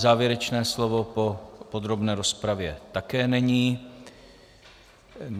Závěrečné slovo po podrobné rozpravě také není.